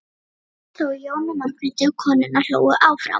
gall þá í Jónu Margréti og konurnar hlógu áfram.